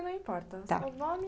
seu nome...